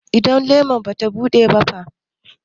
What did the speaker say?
Idan lemar bata buɗe ba fa?